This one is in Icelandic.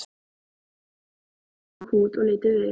Þeir hrukku í kút og litu við.